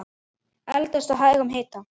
Eldast á hægum hita.